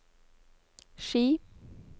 Ski